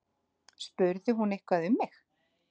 Spurði hún eitthvað um mig?